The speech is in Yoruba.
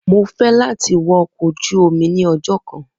Mo fẹ lati wọ ọkọ oju omi ni ọjọ kan.